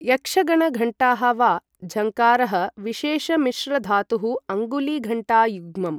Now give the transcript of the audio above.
यक्षगणघण्टाः वा झङ्कारः, विशेषमिश्रधातुः अङ्गुलीघण्टायुग्मम् ।